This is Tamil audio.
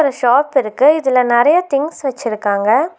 ஷாப்பிருக்கு இதுல நெறைய திங்ஸ் வெச்சிருக்காங்க.